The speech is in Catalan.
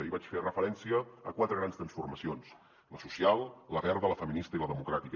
ahir vaig fer referència a quatre grans transformacions la social la verda la feminista i la democràtica